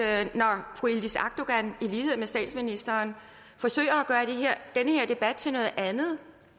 at når fru yildiz akdogan i lighed med statsministeren forsøger at gøre den her debat til noget andet